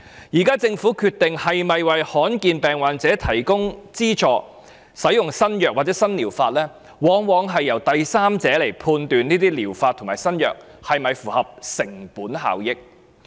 現時政府決定是否資助罕見疾病患者使用新藥物或新療法時，往往由第三者判斷這些療法及新藥物是否符合成本效益。